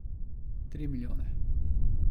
Tri milijone!